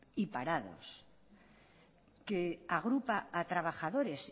y parados que agrupa a trabajadores